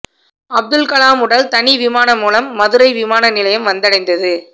அப்துல் கலாம் உடல் தனி விமானம் மூலம் மதுரை விமான நிலையம் வந்தடைந்தது